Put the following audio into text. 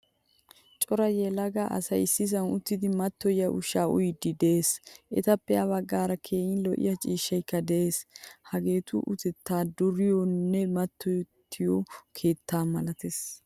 Cora yelaga asay issisan uttidi matoyiya ushsha uyiidi de'ees. Etappe ha baggaara keehin lo''iyaa ciishshaykka de'ees. Hageettu utettay duriyonne matottiyo keettaa malattees.